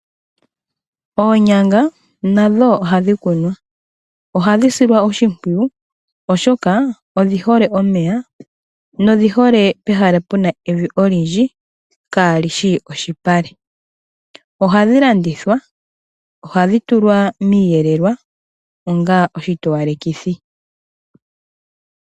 Oonyanga nadho ohadhi kunwa, ohadhi silwa oshimpwiyu, oshoka odhi hole omeya, nodhi hole pehala puna evi olindji kaalishi oshipale. Ohadhi landithwa, ohadhi tulwa miiyelelwa, onga oshitowalekithi.